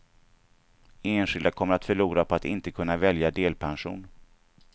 Enskilda kommer att förlora på att inte kunna välja delpension.